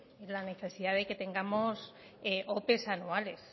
en la necesidad de que tengamos opes anuales